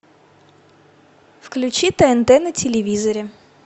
включи тнт на телевизоре